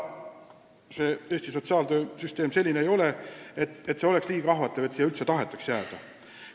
Eesti sotsiaaltöösüsteem ei ole küll selline, et see oleks nii ahvatlev, et siia üldse tahetaks jääda.